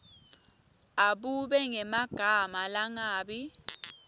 abube ngemagama langabi